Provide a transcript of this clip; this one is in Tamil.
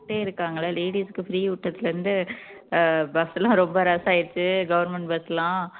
இருக்காங்கல்ல ladies க்கு free விட்டதுல இருந்து அஹ் bus எல்லாம் ரொம்ப rush ஆயிருச்சு government bus எல்லாம்